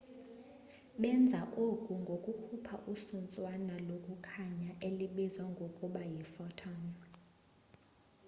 benza oku ngokukhupha isuntswana lokukhanya elibizwa ngokuba yi photon